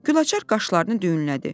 Gülaçar qaşlarını düyünlədi.